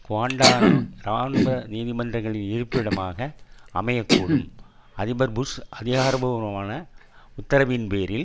Guantanamo இராணுவ நீதிமன்றங்களின் இருப்பிடமாக அமையக்கூடும் அதிபர் புஷ் அதிகாரபூர்வமான உத்தரவின் பேரில்